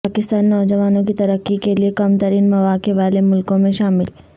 پاکستان نوجوانوں کی ترقی کے لیے کم ترین مواقع والے ملکوں میں شامل